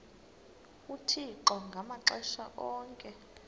uthixo ngamaxesha onke